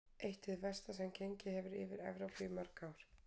Eitt hið versta sem gengið hefur yfir Evrópu í mörg ár.